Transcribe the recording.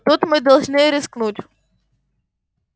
тут мы должны рискнуть